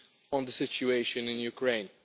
on the situation in Ukraine.